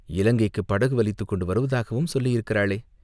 இலங்கைக்குப் படகு வலித்துக் கொண்டு வருவதாகவும் சொல்லியிருக்கிறாளே?